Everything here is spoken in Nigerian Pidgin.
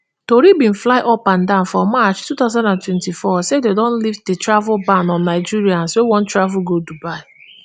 tori bin fly upandan for march two thousand and twenty-four say dem don lift di travel ban on nigerians wey wan travel go dubai